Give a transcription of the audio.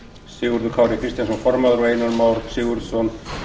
sigurður kári kristjánsson formaður og einar már sigurðarson